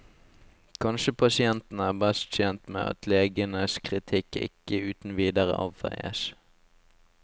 Kanskje pasientene er best tjent med at legenes kritikk ikke uten videre avfeies.